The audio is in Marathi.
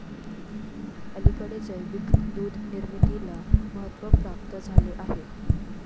अलीकडे जैविक दूधनिर्मितीला महत्व प्राप्त झालेले आहे.